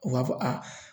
U b'a fɔ a